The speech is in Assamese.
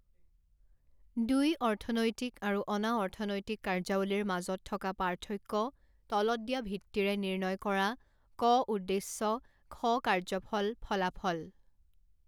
দুই অৰ্থনৈতিক আৰু অনাঅৰ্থনৈতিক কাৰ্যাৱলীৰ মাজত থকা পাৰ্থক্য তলত দিয়া ভিত্তিৰে নিৰ্ণয় কৰা ক উদ্দেশ্য খ কাৰ্যফল ফলাফল।